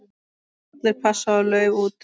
Allir pass og lauf út.